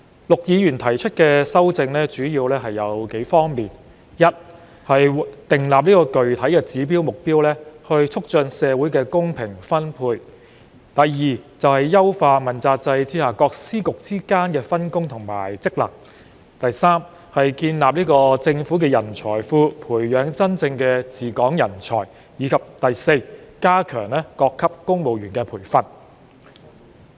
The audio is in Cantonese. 陸議員提出的修正主要有數方面：第一，訂立具體指標和目標，促進社會公平分配；第二，優化問責制下各司局之間的分工及職能；第三，建立政府人才庫，培養真正的治港人才；及第四，加強各級公務員的培訓。